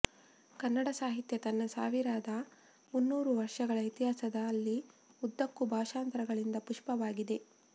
ಕನ್ನಡ ಸಾಹಿತ್ಯ ತನ್ನ ಸಾವಿರದ ಮುನ್ನೂರು ವರ್ಷಗಳ ಇತಿಹಾಸದಲ್ಲಿ ಉದ್ದಕ್ಕೂ ಭಾಷಾಂತರಗಳಿಂದ ಪುಷ್ಟವಾಗಿದೆ